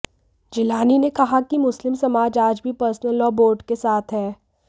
जिलानी ने कहा कि मुस्लिम समाज आज भी पर्सनल लॉ बोर्ड के साथ है